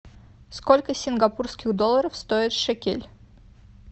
сколько сингапурских долларов стоит шекель